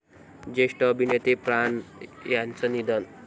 ज्येष्ठ अभिनेते प्राण यांचं निधन